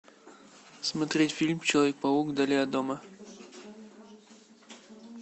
смотреть фильм человек паук вдали от дома